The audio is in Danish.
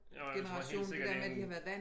Jo jeg tror helt sikkert det en